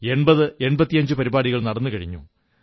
8085 പരിപാടികൾ നടന്നു കഴിഞ്ഞു